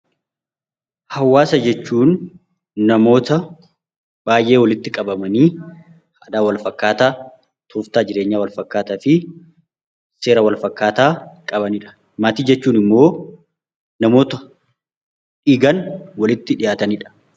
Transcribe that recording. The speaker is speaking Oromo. Hawwaasa jechuun namoota baay'ee walitti qabamanii aadaa walfakkaataa, tooftaa jireenyaa walfakkaataa fi seera walfakkaataa qabani dha. Maatii jechuun immoo namoota dhiigaan walitti dhiyaatani dha.